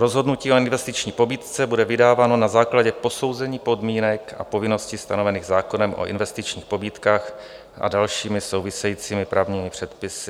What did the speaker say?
Rozhodnutí o investiční pobídce bude vydáváno na základě posouzení podmínek a povinností stanovených zákonem o investičních pobídkách a dalšími souvisejícími právními předpisy.